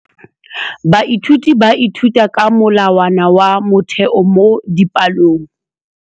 Baithuti ba ithuta ka molawana wa motheo mo dipalong.